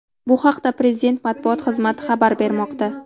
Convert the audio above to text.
Bu haqida Prezident matbuot xizmati xabar bermoqda .